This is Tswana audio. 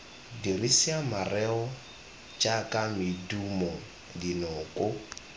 dirisa mareo jaaka medumo dinoko